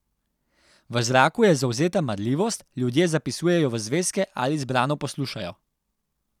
V zraku je zavzeta marljivost, ljudje zapisujejo v zvezke ali zbrano poslušajo.